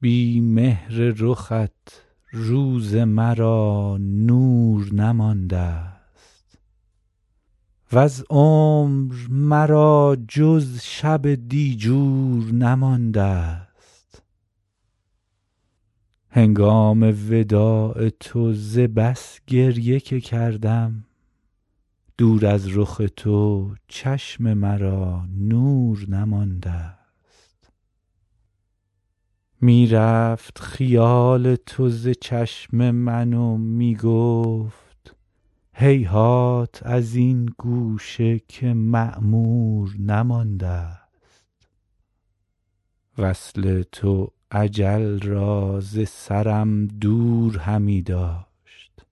بی مهر رخت روز مرا نور نماندست وز عمر مرا جز شب دیجور نماندست هنگام وداع تو ز بس گریه که کردم دور از رخ تو چشم مرا نور نماندست می رفت خیال تو ز چشم من و می گفت هیهات از این گوشه که معمور نماندست وصل تو اجل را ز سرم دور همی داشت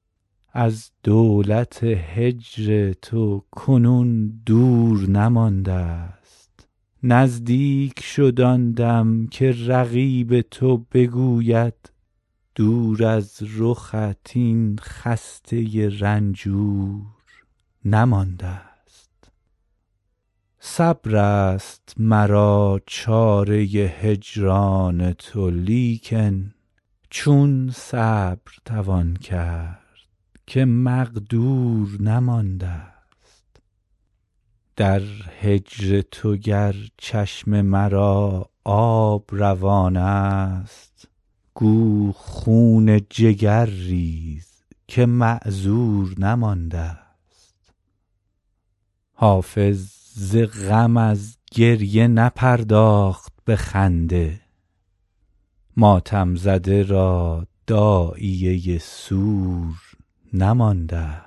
از دولت هجر تو کنون دور نماندست نزدیک شد آن دم که رقیب تو بگوید دور از رخت این خسته رنجور نماندست صبر است مرا چاره هجران تو لیکن چون صبر توان کرد که مقدور نماندست در هجر تو گر چشم مرا آب روان است گو خون جگر ریز که معذور نماندست حافظ ز غم از گریه نپرداخت به خنده ماتم زده را داعیه سور نماندست